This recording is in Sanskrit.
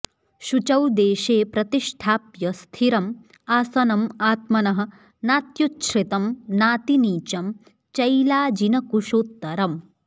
शुचौ देशे प्रतिष्ठाप्य स्थिरम् आसनम् आत्मनः नात्युच्छ्रितं नातिनीचं चैलाजिनकुशोत्तरम्